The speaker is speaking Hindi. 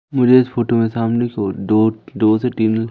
मुझे इस फोटो में सामने कि ओर दो से तीन--